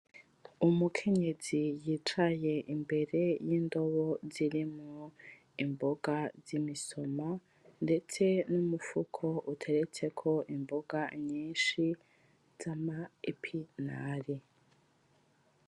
Umukenyezi yicaye imbere yindobo zirimwo imboga zimisoma, ndetse n'umufuko uteretseko imboga nyinshi zama epinare